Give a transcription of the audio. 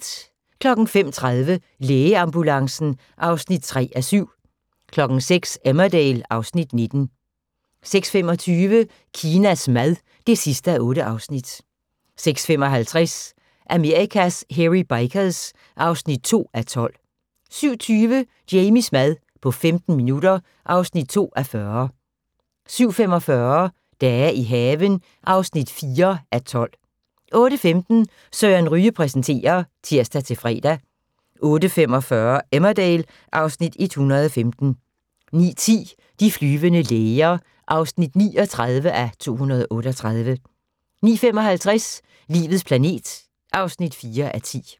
05:30: Lægeambulancen (3:7) 06:00: Emmerdale (Afs. 19) 06:25: Kinas mad (8:8) 06:55: Amerikas Hairy Bikers (2:12) 07:20: Jamies mad på 15 minutter (2:40) 07:45: Dage i haven (4:12) 08:15: Søren Ryge præsenterer (tir-fre) 08:45: Emmerdale (Afs. 115) 09:10: De flyvende læger (39:238) 09:55: Livets planet (4:10)